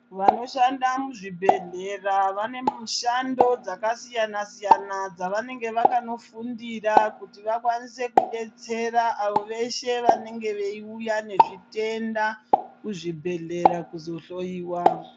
Vanoshanda muzvibhedhlera vane mushando dzakasiyana siyana dzavanenge vakanofundira kuti vakwanise kudetsera avo veshe vanenge veiuya nezvitenda kuzvibhedhlera kuzohloiwa.